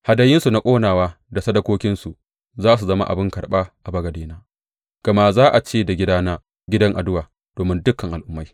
Hadayunsu na ƙonawa da sadakokinsu za su zama abin karɓa a bagadena; gama za a ce da gidana gidan addu’a domin dukan al’ummai.